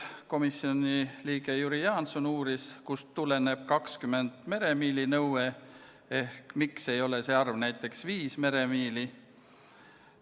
Komisjoni liige Jüri Jaanson uuris, kust tuleneb 20 meremiili nõue ehk miks ei ole see näiteks viis meremiili.